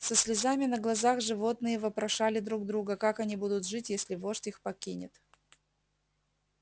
со слезами на глазах животные вопрошали друг друга как они будут жить если вождь их покинет